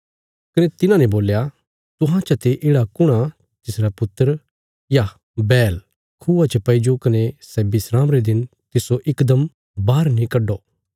कने तिन्हांने बोल्या तुहां चते येढ़ा कुण आ तिसरा पुत्र या बैल खूआ च पैईजो कने सै विस्राम रे दिन तिस्सो इकदम बाहर नीं कड्डो